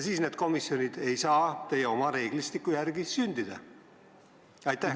Siis need komisjonid ei saa teie oma reeglistiku järgi sündida.